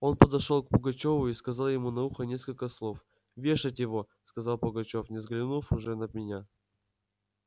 он подошёл к пугачёву и сказал ему на ухо несколько слов вешать его сказал пугачёв не взглянув уже на меня